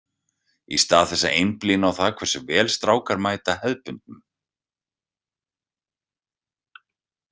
Í stað þess að einblína á það hversu vel strákar mæta hefðbundnum.